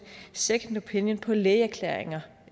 second opinion på lægeerklæringer